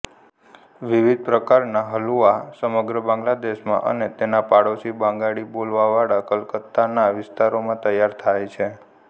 વિવિધ પ્રકારના હલુઆ સમગ્ર બાંગ્લાદેશમાં અને તેના પાડોશી બંગાળી બોલીવાળા કલકત્તાના વિસ્તારોમાં તૈયાર થાય છે